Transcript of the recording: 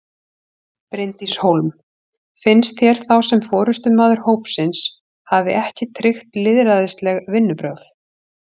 Bryndís Hólm: Finnst þér þá sem forystumaður hópsins hafi ekki tryggt lýðræðisleg vinnubrögð?